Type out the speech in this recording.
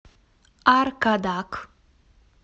аркадак